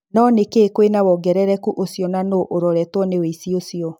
No nĩ kiĩ kwĩna wongerereku ũcio na nũ uroretwo nĩ ũici ũcio?